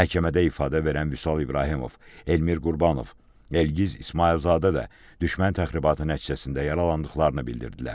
Məhkəmədə ifadə verən Vüsal İbrahimov, Elmir Qurbanov, Elgiz İsmayılzadə də düşmən təxribatı nəticəsində yaralandıqlarını bildirdilər.